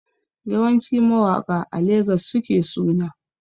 Yawanci mawaƙa a Legas suke suna